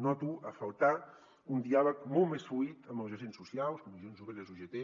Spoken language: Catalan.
noto a faltar un diàleg molt més fluid amb els agents socials comissions obreres ugt